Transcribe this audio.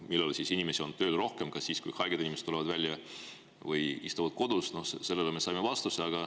Millal inimesi on tööl rohkem, kas siis, kui haiged inimesed tulevad välja või istuvad kodus – no sellele me saime vastuse.